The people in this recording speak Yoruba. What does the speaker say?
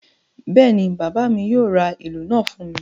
Bẹ́ẹ̀ ni, bàbá mi yóò ra ìlù náà fún mi.